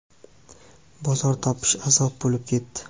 Bozor topish - azob bo‘lib ketdi.